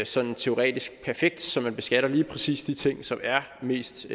sådan teoretisk perfekt så man beskatter lige præcis de ting som er mest